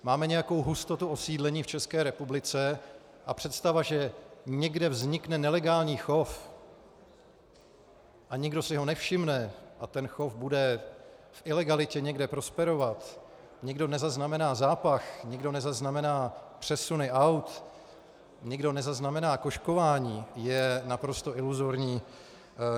Máme nějakou hustotu osídlení v České republice a představa, že někde vznikne nelegální chov a nikdo si ho nevšimne a ten chov bude v ilegalitě někde prosperovat, nikdo nezaznamená zápach, nikdo nezaznamená přesuny aut, nikdo nezaznamená kožkování, je naprosto iluzorní.